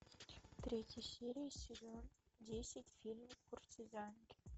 третья серия сезон десять фильм куртизанки